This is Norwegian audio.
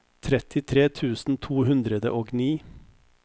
trettitre tusen to hundre og ni